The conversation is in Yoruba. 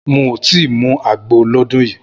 N ò tí ì mu àgbo lọ́dún yìí